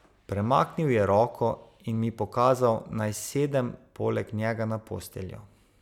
Premaknil je roko in mi pokazal, naj sedem poleg njega na posteljo.